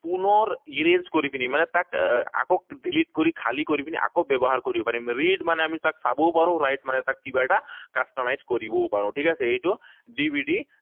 পুনৰ erase কৰি পিনি, মানে তাক আকৌ delete কৰি খালী কৰি পিনি আকৌ ব্যৱহাৰ কৰিব পাৰিম। Read মানে আমি তাক চাবও পাৰো, write মানে তাক কিবা এটা customize কৰিবও পাৰো, ঠিক আছে? এইটো DVD